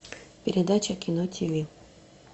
передача кино тиви